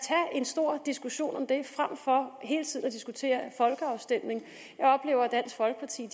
en stor diskussion om det frem for hele tiden at diskutere folkeafstemning jeg oplever at dansk folkeparti